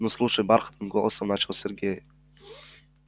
ну слушай бархатным голосом начал сергей